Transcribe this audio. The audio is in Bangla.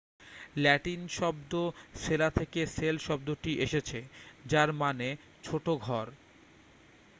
ল্যাটিন শব্দ সেলা থেকে সেল শব্দটি এসেছে যার মানে ছোট ঘর